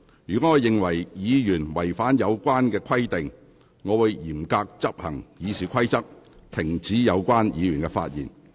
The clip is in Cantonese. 若我認為議員違反有關規定，我會嚴格執行《議事規則》，指示有關議員停止發言。